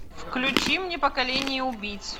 включи мне поколение убийц